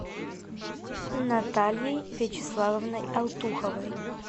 натальей вячеславовной алтуховой